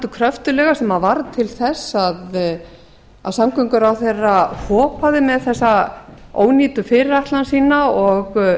kröftuglega sem varð til þess að samgönguráðherra hopaði með þessa ónýtu fyrirætlan sína og